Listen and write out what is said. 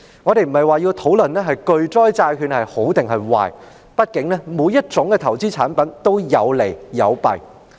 我們並非要討論巨災債券孰好孰壞，畢竟每種投資產品都有利有弊。